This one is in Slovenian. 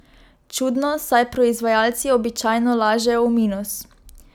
Čudno, saj proizvajalci običajno lažejo v minus!